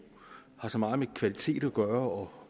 har så meget med kvalitet at gøre